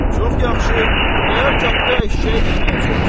Çox yaxşı, Xudayar Katda eşşəyi yeməyəcək ki.